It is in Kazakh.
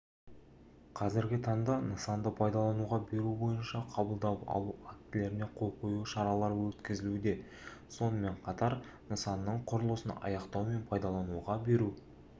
қазіргі таңда нысанды пайдалануға беру бойынша қабылдап алу актілеріне қол қою шаралары өткізілуде сонымен қатар нысанның құрылысын аяқтау мен пайдалануға беру